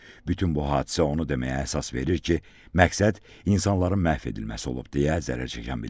Bütün bu hadisə onu deməyə əsas verir ki, məqsəd insanların məhv edilməsi olub deyə zərər çəkən bildirdi.